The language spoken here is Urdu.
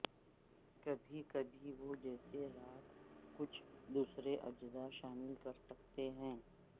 کبھی کبھی وہ جیسے راکھ کچھ دوسرے اجزاء شامل کرسکتے ہیں